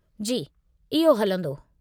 जी, इहो हलंदो।